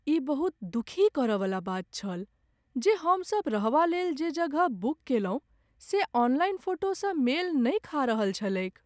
ई बहुत दुखी करयवला बात छल जे, हमसभ रहबालेल जे जगह बुक कयलहुँ से ऑनलाइन फोटोसँ मेल नहि खा रहल छलैक।